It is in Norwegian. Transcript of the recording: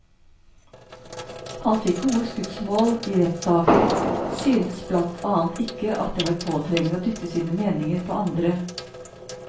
Han fikk gode skussmål i rettssaken, syntes blant annet ikke at det var påtrengende å dytte sine meninger på andre.